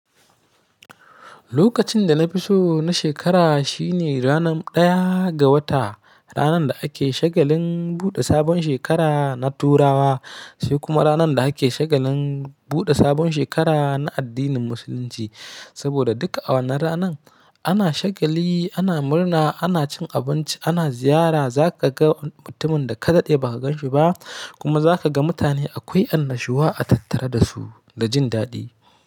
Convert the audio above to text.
Lokacin da na fi so na shekara shine ranar ɗaya ga wata, ranar da ake shagalin buɗe sabon shekara na Turawa, sai kuma ranar da ake shagalin buɗe sabon shekara na addinin Musulunci. Saboda duka a wannan ranan ana shagali, ana murna, ana cin abinci, ana ziyara. Za ka ga mutumin da ka daɗe ba ka ganshi ba kuma za ka ga mutane akwai annashuwa a tattara da su da jin daɗi.